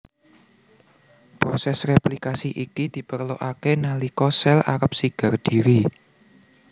Prosès réplikasi iki diperlokaké nalika sel arep sigar dhiri